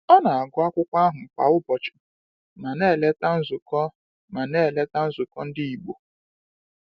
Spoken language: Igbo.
Ọ na-agụ akwụkwọ ahụ kwa ụbọchị ma na-eleta nzukọ ma na-eleta nzukọ ndị Igbo.